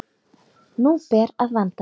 Nú ber að vanda sig!